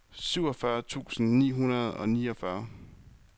syvogfyrre tusind ni hundrede og niogfyrre